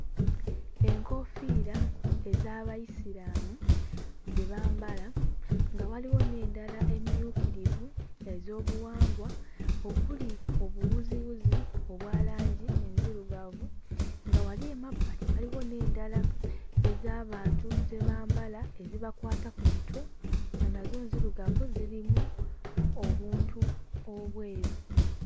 Enkoofiira ez'Abayisiraamu ze bambala nga waliwo n'endala emmyukirivu ez'obuwangwa okuli obuwuziwuzi obwa langi enzirugavu nga wali emabbali waliwo n'endala ez'abantu ze bambala ezibakwata ku mitwe nga nazo nzirugavu zirimu obuntu obweru.